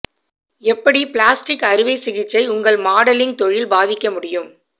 எப்படி பிளாஸ்டிக் அறுவை சிகிச்சை உங்கள் மாடலிங் தொழில் பாதிக்க முடியும்